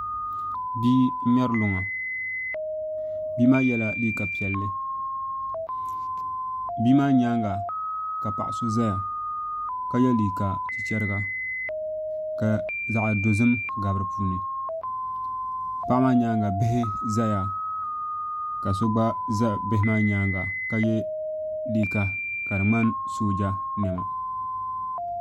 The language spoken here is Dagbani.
Bia n ŋmɛri luŋa bia maa yɛla liiga piɛlli bia maa nyaanga ka paɣa so ʒɛya ka yɛ liiga chichɛriga ka zaɣ dozim gabi di puuni paɣa maa nyaanga bihi ʒɛya ka so gba ʒɛ bihi maa nyaanga ka yɛ liiga ka di ŋmani sooja niɛma